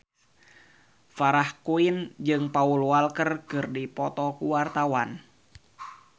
Farah Quinn jeung Paul Walker keur dipoto ku wartawan